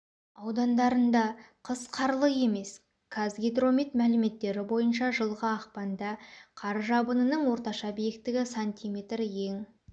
аудандарында қыс қарлы емес казгидромет мәліметтері бойынша жылғы ақпанда қар жабынының орташа биіктігі см ең